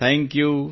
thank you